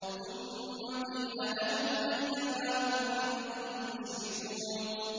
ثُمَّ قِيلَ لَهُمْ أَيْنَ مَا كُنتُمْ تُشْرِكُونَ